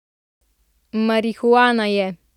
Marihuana je.